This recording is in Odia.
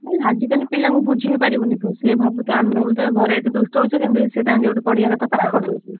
ହୁଁ ଆଜି କାଲି ପିଲାଙ୍କୁ ବୁଝେଇ ପରିବୁନୁ ତୁ ଆମେ ଭାବୁଥିବା ସିଏ ଘରେ ଏତେ ଦୁଷ୍ଟ ହଉଛି କିନ୍ତୁ ସିଏ ତାଙ୍କର ପାଠପଢିବା କଥା ।